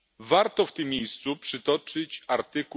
Warto w tym miejscu przytoczyć art.